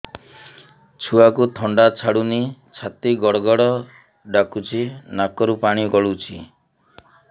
ଛୁଆକୁ ଥଣ୍ଡା ଛାଡୁନି ଛାତି ଗଡ୍ ଗଡ୍ ଡାକୁଚି ନାକରୁ ପାଣି ଗଳୁଚି